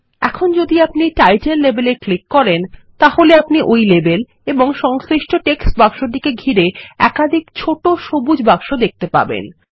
এখনযদি আপনি label title এ click করেন তাহলেআপনি ওইলেবেল এবং সংশ্লিষ্টটেক্সট বাক্সটিকে ঘিরে একাধিক ছোট সবুজ বাক্স দেখতে পাবেন